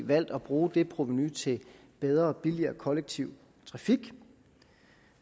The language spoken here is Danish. valgt at bruge det provenu til bedre og billigere kollektiv trafik